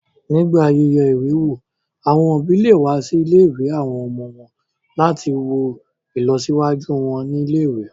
Nígbà yíyẹ ìwé wò, àwọn òbí lè wá sí ilé-ìwé àwọn ọmọ wọn láti wo ìlọsíwájú wọn ní ilé-ìwé